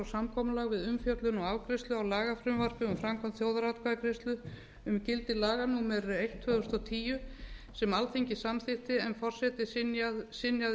samkomulag við umfjöllun og afgreiðslu á lagafrumvarpi um framkvæmd þjóðaratkvæðagreiðslu um gildi laga númer eitt tvö þúsund og tíu sem alþingi samþykkti en forseti synjaði